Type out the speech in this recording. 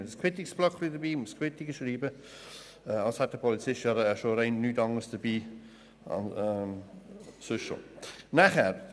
Jeder Polizist müsste ständig einen solchen Quittungsblock mitführen, als hätte ein Polizist nicht sonst schon genügend Material dabei.